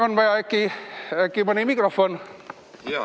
On vaja äkki mikrofoni?